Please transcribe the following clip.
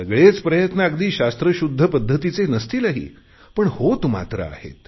सगळेच प्रयत्न अगदी शास्त्रशुध्द पध्दतीचे नसतीलही पण होत मात्र आहेत